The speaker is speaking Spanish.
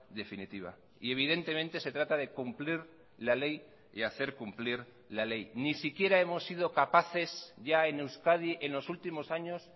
definitiva y evidentemente se trata de cumplir la ley y hacer cumplir la ley ni siquiera hemos sido capaces ya en euskadi en los últimos años